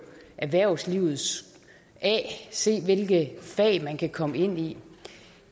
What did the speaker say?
erhvervslivet af se hvilke fag man kan komme ind i